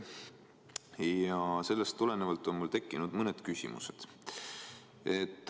Ja sellest tulenevalt on mul tekkinud mõned küsimused.